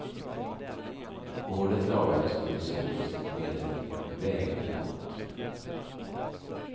Hålet lagades provisoriskt med en vägplåt.